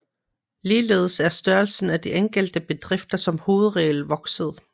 Ligeledes er størrelsen af de enkelte bedrifter som hovedregel vokset